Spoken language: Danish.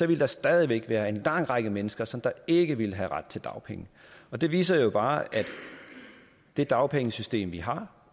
ville der stadig væk være en lang række mennesker som ikke ville have ret til dagpenge og det viser jo bare at det dagpengesystem vi har